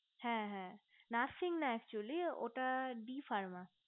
হে হে nursing না accioly ওটা the farmer